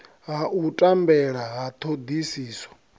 ha u tambela ha thodisiso